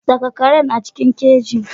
Saka karen a cikin keji.